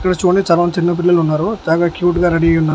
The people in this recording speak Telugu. ఇక్కడ చూడండి చాలామంది చిన్నపిల్లలు ఉన్నారు బాగా క్యూట్ గా రెడీ అయ్యి ఉన్నా--